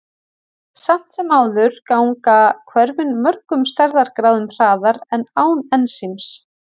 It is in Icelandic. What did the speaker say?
Samt sem áður ganga hvörfin mörgum stærðargráðum hraðar en án ensíms.